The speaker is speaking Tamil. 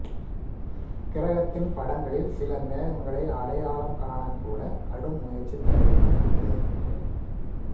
கிரகத்தின் படங்களில் சில மேகங்களை அடையாளம் காணக்கூட கடும் முயற்சி தேவைப்படுகிறது